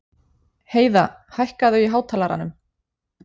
Heiða, hækkaðu í hátalaranum.